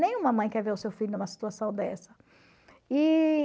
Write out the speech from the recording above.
Nenhuma mãe quer ver o seu filho numa situação dessa. E...